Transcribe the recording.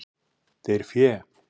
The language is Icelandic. Deyr fé.